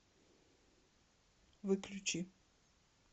выключи